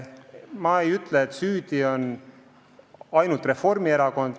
Ma pole öelnud, et süüdi on ainult Reformierakond.